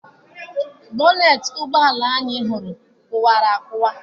Bọneeti ụgbọala ahụ anyị hụrụ kụwara akụwa.